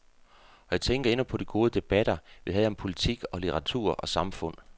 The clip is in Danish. Og jeg tænker endnu på de gode debatter, vi havde om politik og litteratur og samfund.